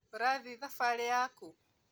Ũrathiĩ thabarĩ yakũ?